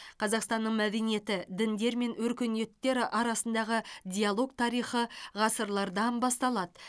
қазақстанның мәдениеті діндер мен өркениеттер арасындағы диалог тарихы ғасырлардан басталады